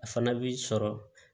A fana bi sɔrɔ